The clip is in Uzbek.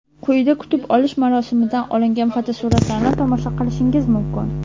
Quyida kutib olish marosimidan olingan fotosuratlarni tomosha qilishingiz mumkin.